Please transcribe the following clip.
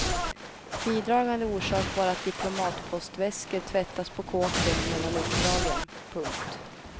Bidragande orsak var att diplomatpostväskor tvättas på kåken mellan uppdragen. punkt